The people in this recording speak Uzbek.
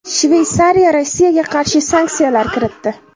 Shveysariya Rossiyaga qarshi sanksiyalar kiritdi.